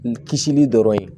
N kisili dɔrɔn ye